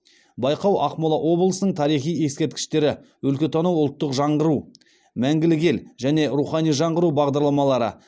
байқау ақмола облысының тарихи ескерткіштері өлкетану ұлттық жаңғыру мәңгілік ел және рухани жаңғыру бағдарламалары